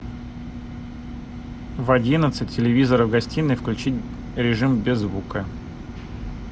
в одиннадцать телевизор в гостиной включить режим без звука